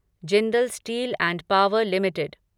Jindal steel and power limited